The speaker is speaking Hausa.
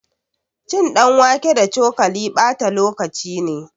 Cin ɗanwake da cokali ɓata lokaci ne